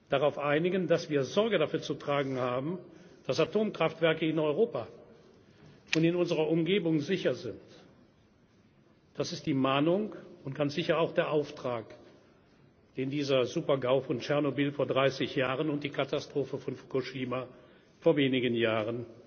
Katastrophe, darauf einigen, dass wir dafür Sorge zu tragen haben, dass Atomkraftwerke in Europa und in unserer Umgebung sicher sind. Das ist die Mahnung und ganz sicher auch der Auftrag, den dieser Super GAU von Tschernobyl vor 30 Jahren und die Katastrophe von Fukushima vor